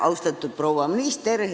Austatud proua minister!